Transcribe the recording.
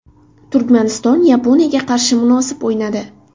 Turkmaniston Yaponiyaga qarshi munosib o‘ynadi.